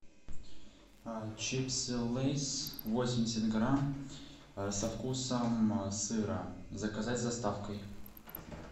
чипсы лейс восемьдесят грамм со вкусом сыра заказать с доставкой